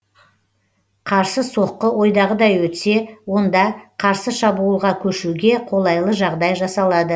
қарсы соққы ойдағыдай өтсе онда қарсы шабуылға көшуге қолайлы жағдай жасалады